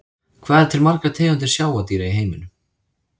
Hvað eru til margar tegundir sjávardýra í heiminum?